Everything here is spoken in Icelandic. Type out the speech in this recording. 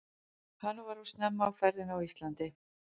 Hann var of snemma á ferðinni á Íslandi.